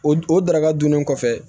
O o daraka dunnen kɔfɛ